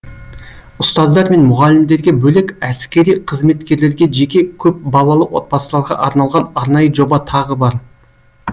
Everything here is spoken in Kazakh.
ұстаздар мен мұғалімдерге бөлек әскери қызметкерлерге жеке көпбалалы отбасыларға арналған арнайы жоба тағы бар